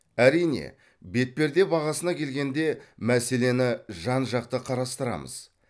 әрине бетперде бағасына келгенде мәселені жан жақты қарастырамыз